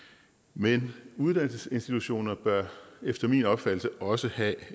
men uddannelsesinstitutioner bør efter min opfattelse også have